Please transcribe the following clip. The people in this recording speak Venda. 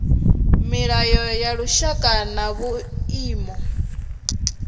milayo ya lushaka na vhuimo